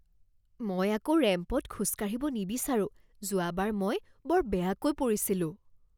মই আকৌ ৰেম্পত খোজ কাঢ়িব নিবিচাৰোঁ। যোৱাবাৰ মই বৰ বেয়াকৈ পৰিছিলোঁ।